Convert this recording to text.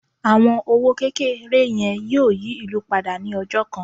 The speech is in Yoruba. àwọn owó kékeré yẹn yíò yí ìlú pada ni ọjọ kan